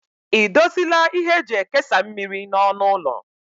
Ị dozila ihe eji ekesa mmiri n'ọnụ ụlọ?